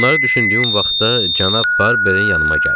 Bunları düşündüyüm vaxtda cənab Barbeinin yanıma gəldi.